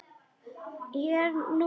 Ég er nú þung.